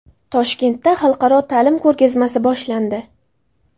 Toshkentda xalqaro ta’lim ko‘rgazmasi boshlandi.